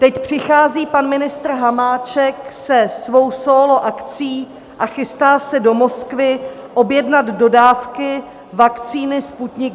Teď přichází pan ministr Hamáček se svou sólo akcí a chystá se do Moskvy objednat dodávky vakcíny Sputnik